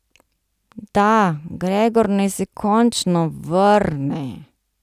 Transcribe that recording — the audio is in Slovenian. Da, Gregor naj se končno vrne.